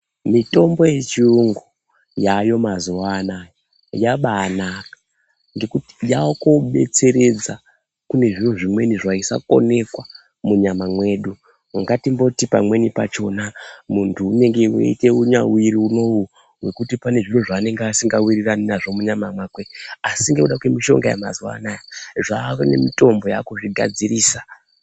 Mutombo yechiyungu yayo mazuwa Anaya yambainaka ngekuti yakobetseredza kune zviro zvimweni zvaisakoneka munyama mwedu ngatimboti pamweni pachona mundu unenge eita munyawiri unou wekuti pane zviro zvasinga wirirani nazvo munyama make asi ngekuda kwemushonga yemazuwa Anaya zvane mutombo yakuzvigadzirisa.